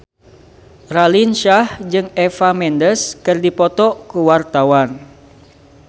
Raline Shah jeung Eva Mendes keur dipoto ku wartawan